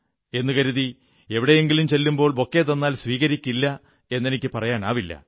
എന്നു കരുതി എവിടെയെങ്കിലും ചെല്ലുമ്പോൾ ബൊക്കെ തന്നാൽ സ്വീകരിക്കില്ല എന്നെനിക്കു പറയാനാവില്ല